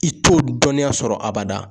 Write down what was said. I t'o dɔnniya sɔrɔ abada.